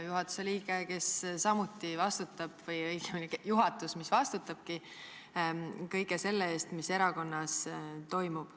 Juhatuse liige või õigemini juhatus vastutab kõige selle eest, mis erakonnas toimub.